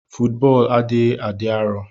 Fọọtbọlụ adighi adi arọ.